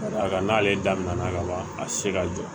Ka d'a kan n'ale daminɛna ka ban a ti se ka jɔ